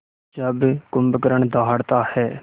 जब कुंभकर्ण दहाड़ता है